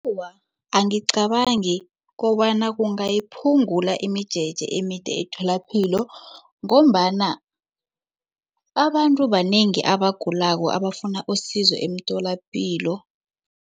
Awa, angicabangi kobana kungayiphungula imijeje emide etholapilo ngombana abantu banengi abagulako abafuna usizo emitholapilo.